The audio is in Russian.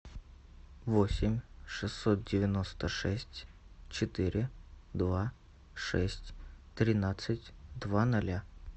восемь шестьсот девяносто шесть четыре два шесть тринадцать два ноля